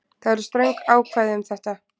Það eru ströng ákvæði um þetta